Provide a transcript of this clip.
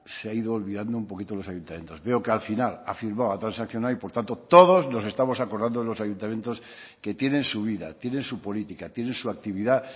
se ha ido olvidando un poquito a los ayuntamientos veo que al final ha firmado ha transaccionado y por tanto todos nos estamos acordando de los ayuntamientos que tienen su vida tienen su política tiene su actividad